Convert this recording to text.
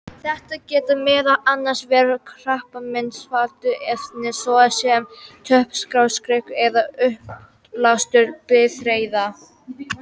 Þetta geta meðal annars verið krabbameinsvaldandi efni, svo sem tóbaksreykur eða útblástur bifreiða.